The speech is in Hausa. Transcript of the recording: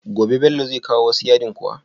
Gobe Bello zai kawo wasu yadin kuwa?